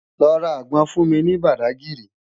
Lò rá ágbòn fún mi ni Bádágiri